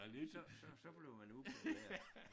Så så så bliver man upopulær